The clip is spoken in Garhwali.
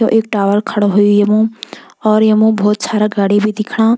यु एक टावर खड़ु होयुं येमु और येमु भोत सारा गाड़ी भी दिखणा।